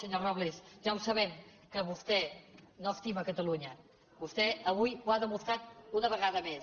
senyor robles ja ho sabem que vostè no estima catalunya vostè avui ho ha demostrat una vegada més